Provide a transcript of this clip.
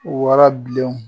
Warabilenw